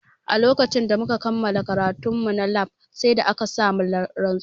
A lokacin da muka kammala karatun mu na lab sai da aka sa mu rantsuwa